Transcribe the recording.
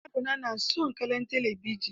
Yarona na son kallan talabijin.